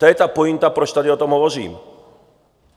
To je ta pointa, proč tady o tom hovořím.